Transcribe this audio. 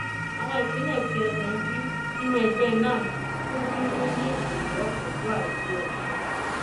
àwọn ìpínlẹ tí ẹkùn d nínú ẹgbẹ nans kó sínú ní ọyọ ondo àti ọsùn